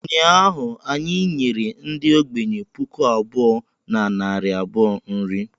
Ụnyaahụ anyị nyere ndị ogbenye puku abụọ na narị abụọ nri